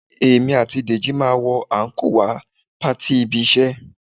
Èmi àti Dèjì máa wọ àńkò wá patí ibi-iṣẹ́